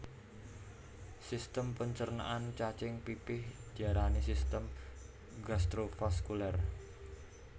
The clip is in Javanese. Sistem pencernaan cacing pipih diarani sistem gastrovaskuler